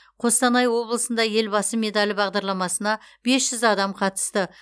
қостанай облысында елбасы медалі бағдарламасына бес жүз адам қатысты